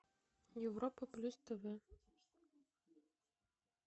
европа плюс тв